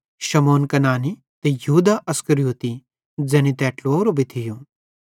शमौन कनानी ते यहूदा इस्करियोती ज़ैनी तै ट्लुवेवरो भी थियो